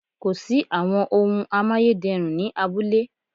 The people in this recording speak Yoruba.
Kò sí àwọn ohun amáyédẹrùn ni abúlé